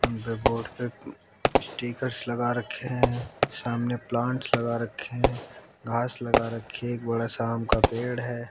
उनके बोर्ड पे स्टिकरस लगा रखे हैं सामने प्लांट्स लगा रखे हैं घास लगा रखे है एक बड़ा सा आम का पेड़ है।